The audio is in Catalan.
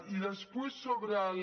i després sobre la